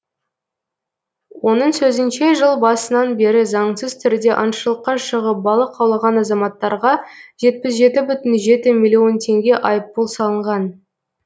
оның сөзінше жыл басынан бері заңсыз түрде аңшылыққа шығып балық аулаған азаматтарға жетпіс жеті бүтін жеті миллион теңге айыппұл салынған